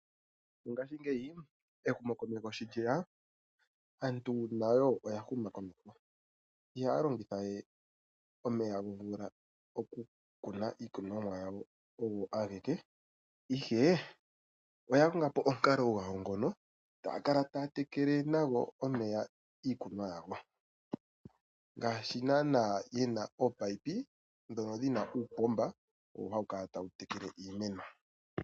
Mongashingeyi ehumokomeho sho lyeya, aantu nayo oya huma komeho. Ihaya longitha we omeya gomvula okukuna iikunwamo yawo og ageke, ihe oya konga po omukalo gwawo ngono taa kala taa tekele nago omeya iikunwa yawo. Ngaashi naana yena ominino dhono dhina uupomba owo hawu kala tawu tekele iimeno.